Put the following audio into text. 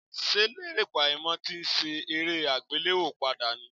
Ṣé Lérè Pàímọ́ ti ń ṣe eré àgbéléwò padà ní?